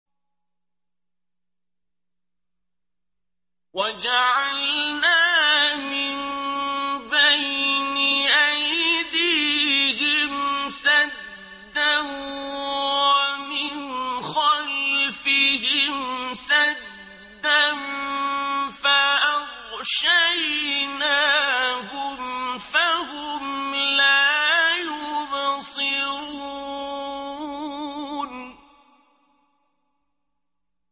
وَجَعَلْنَا مِن بَيْنِ أَيْدِيهِمْ سَدًّا وَمِنْ خَلْفِهِمْ سَدًّا فَأَغْشَيْنَاهُمْ فَهُمْ لَا يُبْصِرُونَ